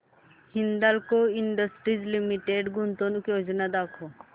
Hindalco industries limited गुंतवणूक योजना दाखव